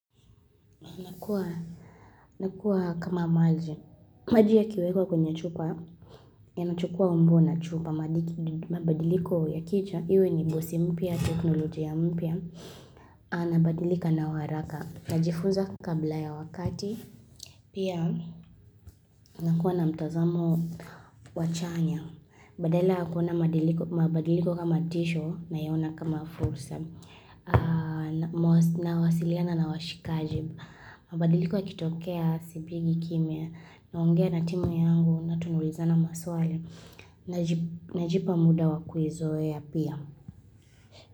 Nakuwa kama maji, maji ya kiwekwa kwenye chupa, ya nachukua umbo na chupa, mabadiliko ya kicha, iwe ni gosi mpia, teknolojia mpya, anabadilika na waraka, najifuza kabla ya wakati, pia nakuwa na mtazamo wa chanya. Badala yakuona mabadiliko kama tisho nayona kama fursa na wasilia na nawashikajib. Mabadiliko akitokea sibigi kimya naongea na timu yangu na tunuweza na maswali na jipa muda wa kuzoa pia.